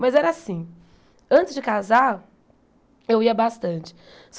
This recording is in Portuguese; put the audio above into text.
Mas era assim, antes de casar, eu ia bastante.